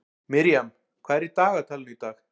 Miriam, hvað er í dagatalinu í dag?